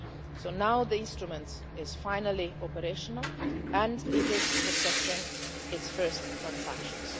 So now the instrument is finally operational and it is processing its first transactions.